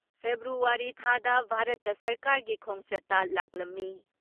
February ꯊꯥꯗ ꯚꯥꯔꯠꯇ ꯁꯔꯀꯥꯔꯒꯤ ꯈꯣꯡꯆꯠꯇ ꯂꯥꯛꯂꯝꯃꯤ ꯫